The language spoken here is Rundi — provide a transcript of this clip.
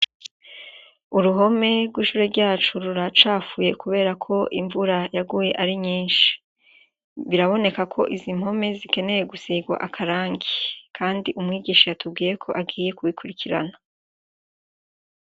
Uruhome rw'ishure ryacu ruracafuye kubera ko imvura yaguye ari nyinshi. Biraboneka ko izo mpome zikenewe gusigwa akarangi kandi umwigisha yatubwiye ko agiye kubikurikirana.